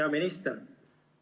Hea minister!